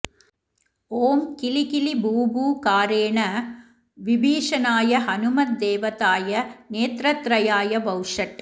ॐ किलिकिलि बू बू कारेण विभीषणाय हनुमद्देवताय नेत्रत्रयाय वौषट्